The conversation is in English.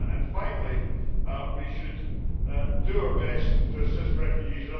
Finally, we should do our best to assist refugees.